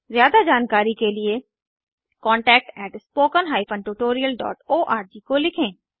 ज्यादा जानकारी के लिए contactspoken tutorialorg को लिखें